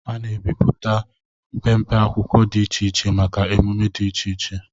A na-emepụta mpempe akwụkwọ dị iche iche maka èmumé dị iche iche